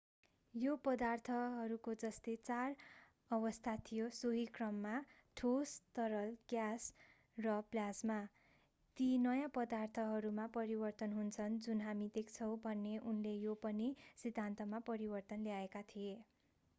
यो पदार्थहरूको जस्तै चार अवस्था थियो सोही क्रममा: ठोस तरल ग्यास र प्लाज्मा। ती नयाँ पदार्थहरूमा परिवर्तन हुन्छन् जुन हामी देख्छौं भन्ने उनले यो पनि सिद्धान्तमा परिवर्तन ल्याएका थिए।